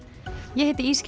ég heiti